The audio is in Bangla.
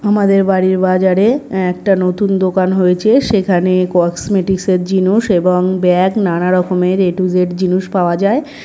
আমাদের বাড়ির বাজারে একটা নতুন দোকান হয়েছে সেখানে কসমেটিক্স -এর জিনস এবংব্যাগ নানা রকমের এ টু জেড জিনস পাওয়া যায়।